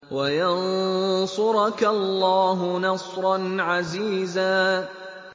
وَيَنصُرَكَ اللَّهُ نَصْرًا عَزِيزًا